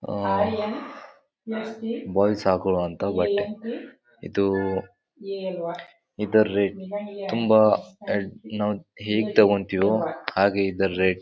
ಆಹ್ಹ್ boys ಹಾಕೊಳೋವಂಥ ಬಟ್ಟೆ ಇದು. ಇದರ ರೇಟ್ ತುಂಬಾ ನಾವ್ ಹೇಗ್ ತಗೋತೀವೋ ಹಾಗೆ ಇದರ ರೇಟ್ .